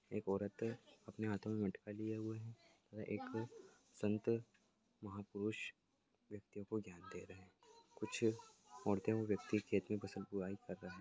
एक औरत अपने हाथो मे मटका लिए हुए हैं व एक संत महापुरुष व्यक्ति को ध्यान दे रहे हैं कुछ औरते व्यक्ति खेतमे फसल को बुवाई कर रहे है।